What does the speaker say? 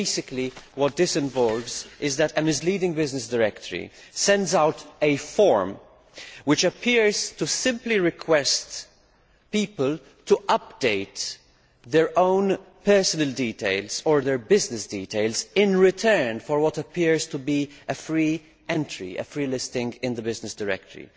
Basically, what this involves is that a misleading business directory sends out a form, which appears to simply request people to update their own personal details or their business details, in return for what appears to be a free entry, a free listing in the business directory.